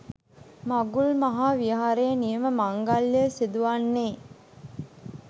මඟුල් මහා විහාරයේ නියම මංගල්‍යය සිදුවන්නේ